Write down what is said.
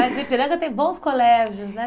Mas o Ipiranga tem bons colégios, né?